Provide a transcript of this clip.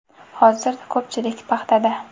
Hozir ko‘pchilik paxtada.